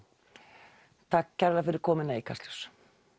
takk kærlega fyrir komuna í Kastljós